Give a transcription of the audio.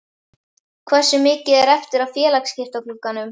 Hversu mikið er eftir af félagaskiptaglugganum?